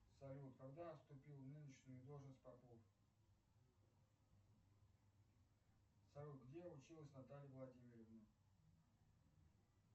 салют когда вступил в нынешнюю должность попов салют где училась наталья владимировна